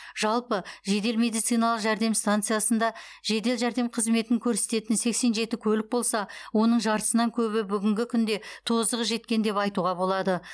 жалпы жедел медициналық жәрдем станциясында жедел жәрдем қызметін көрсететін сексен жеті көлік болса оның жартысынан көбі бүгінгі күнде тозығы жеткен деп айтуға болады